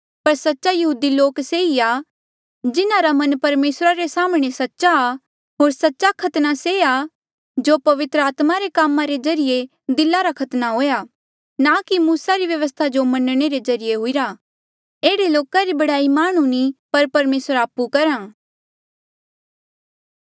पर सच्चा यहूदी लोक सेई आ जिन्हारा मन परमेसरा रे साम्हणें सच्चा आ होर सच्चा खतना सेई आ जो पवित्र आत्मा रे कामा रे ज्रीए दिला रा खतना हुआ ना कि मूसा री व्यवस्था जो मन्ने रे ज्रीए हुईरा एह्ड़े लोका री बड़ाई माह्णुं नी पर परमेसर आपु करहा